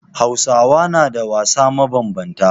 Hausawa na da wasanni mabambanta.